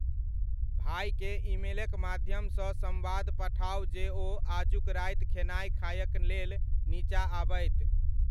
भाईकें ईमेलक माध्यम सॅ संवाद पठाओ जे ओ आजूक राति खेनाई खायक लेल नीचां आबइत।